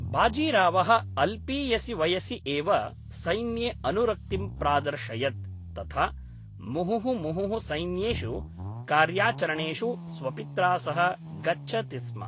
बाजीरावः अल्पीयसि वयसि एव सैन्ये अनुरक्तिं प्रादर्शयत्, तथा मुहुः मुहुः सैन्येषु कार्याचरणेषु स्वपित्रा सह गच्छति स्म।